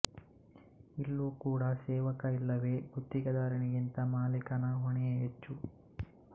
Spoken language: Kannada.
ಇಲ್ಲೂ ಕೂಡ ಸೇವಕ ಇಲ್ಲವೆ ಗುತ್ತಿಗೆದಾರನಿಗಿಂತ ಮಾಲೀಕನ ಹೊಣೆಯೇ ಹೆಚ್ಚು